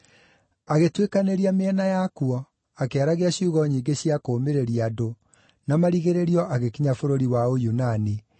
Agĩtuĩkanĩria mĩena ya kuo, akĩaragia ciugo nyingĩ cia kũũmĩrĩria andũ, na marigĩrĩrio agĩkinya bũrũri wa Ũyunani,